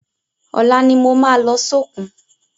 Ọla ni mo ma lọ sókun